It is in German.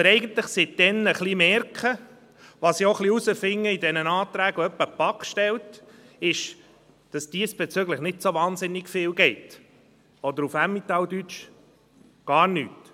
Was wir seither merken, und was ich auch aufgrund der Anträge herausfinde, welche die BaK manchmal stellt, ist, dass diesbezüglich nicht so wahnsinnig viel läuft oder – auf Emmentaler Deutsch – «gar nüt!».